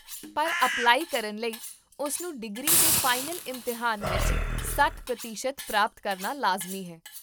ਪਰ ਅਪਲਾਈ ਕਰਨ ਲਈ, ਉਸਨੂੰ ਡਿਗਰੀ ਦੇ ਫਾਈਨਲ ਇਮਤਿਹਾਨ ਵਿੱਚ ਸੱਠ ਪ੍ਰਤੀਸ਼ਤ ਪ੍ਰਾਪਤ ਕਰਨਾ ਲਾਜ਼ਮੀ ਹੈ